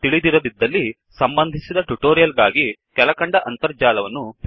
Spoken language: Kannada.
ತಿಳಿದಿರದಿದ್ದಲ್ಲಿ ಸಂಬಂಧಿತ ಟ್ಯುಟೋರಿಯಲ್ ಗಾಗಿ ಕೆಳಕಂಡ ಅಂತರ್ಜಾಲ ತಾಣವನ್ನು ಭೇಟಿಕೊಡಿ